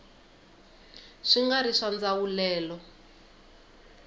swi nga ri swa ndzawulelo